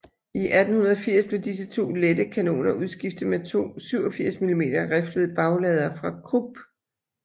I 1880 blev disse to lette kanoner udskiftet med to 87 mm riflede bagladere fra Krupp